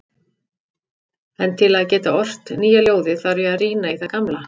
En til að geta ort nýja ljóðið þarf ég að rýna í það gamla.